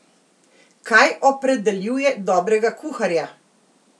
Kaj opredeljuje dobrega kuharja?